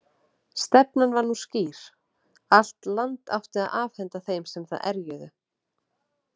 Stefnan var nú skýr: Allt land átti að afhenda þeim sem það erjuðu.